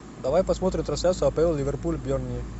давай посмотрим трансляцию апл ливерпуль бернли